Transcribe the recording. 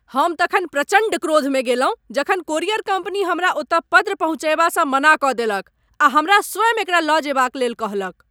हम तखन प्रचण्ड क्रोध में गेलहुँ जखन कोरियर कम्पनी हमरा ओतऽ पत्र पहुँचयबासँ मना कऽ देलक आ हमरा स्वयँ एकरा लऽ जेबाक लेल कहलक।